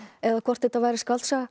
eða hvort þetta væri skáldsaga